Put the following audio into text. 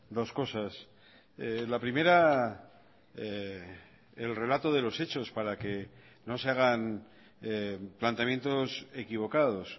dos cosas la primera el relato de los hechos para que no se hagan planteamientos equivocados